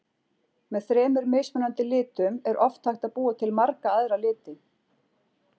Með þremur mismunandi litum er oft hægt að búa til marga aðra liti.